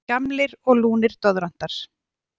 Gamlir og lúnir doðrantar.